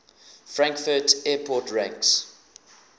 frankfurt airport ranks